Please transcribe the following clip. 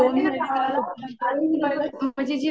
भारीना गावाला. म्हणजे जी लोकं